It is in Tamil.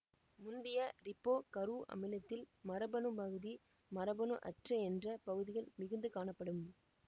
முந்திய ரிபோ கரு அமிலத்தில் மரபணு பகுதி மரபணு அற்ற என்ற பகுதிகள் மிகுந்து காணப்படும்